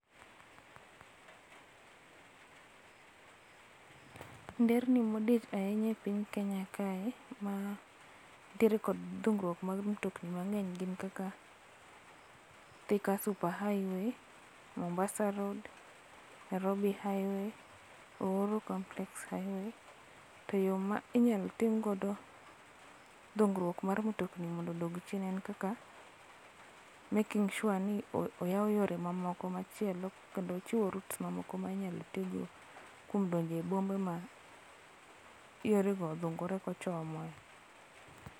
Nderni modich ahinya e piny Kenya kae mantiere gi dhugruok mar mtokni mangeny gin kaka Thika super highway, Mombasa road, Nairobi highway, Uhuru complex highway to yoo ma inyal tiek go dhugruok mar mtokni mondo odog chien en kaka making sure ni oyao yore mamoko machielo kendo chiwo routes minyalo tii go kuom donje bombe ma yore go odhugore kochomo e